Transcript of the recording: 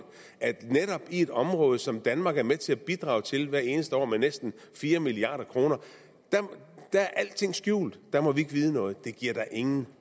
at netop i et område som danmark er med til at bidrage til hvert eneste år med næsten fire milliard kr er alting skjult der må vi ikke vide noget det giver da ingen